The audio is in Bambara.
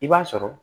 I b'a sɔrɔ